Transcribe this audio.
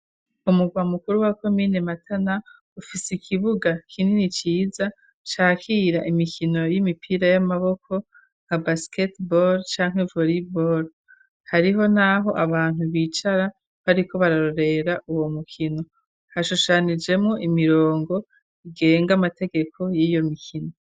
Umugwa mukuru wa komine Matana, ufise ikibuga kinini ciza cakira imikino y'imipira y'amaboko nka basiketibol canke voribol, hariho n'aho abantu bicara bariko bararorera uwo mukino, hashushanyijemwo imirongo igenga amategeko y'iyo mikino.